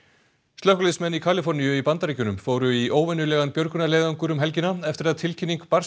slökkviliðsmenn í Kaliforníu í Bandaríkjunum fóru í óvenjulegan björgunarleiðangur um helgina eftir að tilkynning barst